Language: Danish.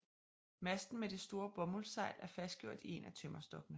Masten med det store bomuldssejl er fastgjort i en af tømmerstokkene